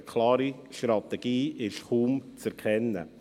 Eine klare Strategie ist kaum zu erkennen.